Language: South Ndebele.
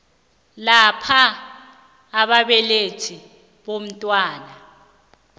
lapho ababelethi bomntwana